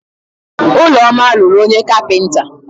Ụlọma lụrụ onye kapịnta.